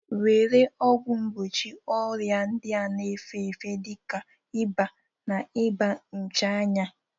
Were ọgwụ mgbochi ọrịa ndị na-efe efe dị ka ịba, na iba nchananya